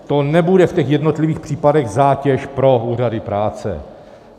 To nebude v těch jednotlivých případech zátěž pro úřady práce.